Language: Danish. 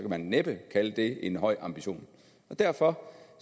man næppe kalde det en høj ambition og derfor